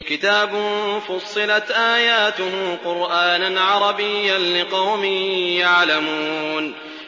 كِتَابٌ فُصِّلَتْ آيَاتُهُ قُرْآنًا عَرَبِيًّا لِّقَوْمٍ يَعْلَمُونَ